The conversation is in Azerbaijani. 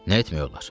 Nə etmək olar?